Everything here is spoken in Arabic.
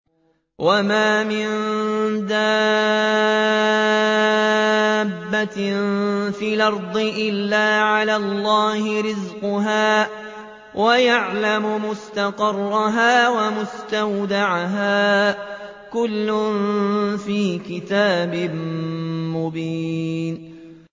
۞ وَمَا مِن دَابَّةٍ فِي الْأَرْضِ إِلَّا عَلَى اللَّهِ رِزْقُهَا وَيَعْلَمُ مُسْتَقَرَّهَا وَمُسْتَوْدَعَهَا ۚ كُلٌّ فِي كِتَابٍ مُّبِينٍ